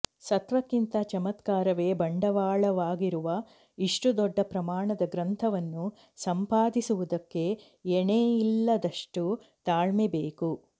ಸತ್ವಕ್ಕಿಂತ ಚಮತ್ಕಾರವೇ ಬಂಡವಾಳವಾಗಿರುವ ಇಷ್ಟು ದೊಡ್ಡ ಪ್ರಮಾಣದ ಗ್ರಂಥವನ್ನು ಸಂಪಾದಿಸುವುದಕ್ಕೆ ಎಣೆಯಿಲ್ಲದಷ್ಟು ತಾಳ್ಮೆಬೇಕು